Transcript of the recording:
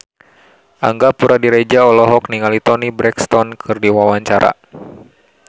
Angga Puradiredja olohok ningali Toni Brexton keur diwawancara